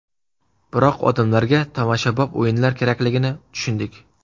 Biroq odamlarga tomoshabob o‘yinlar kerakligini tushundik.